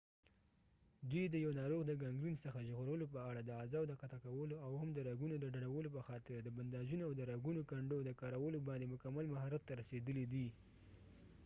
دوي د یو ناروغ د ګنګرین څخه ژغورلو په اړه د اعضاو د قطع کولو او هم د رګونو د ډډولو په خاطر د بنداژونو اود رګونو کنډو د کارولوباندي مکمل مهارت ته رسیدلی دي